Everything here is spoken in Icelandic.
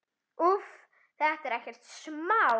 Úff, þetta er ekkert smá.